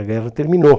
A guerra terminou.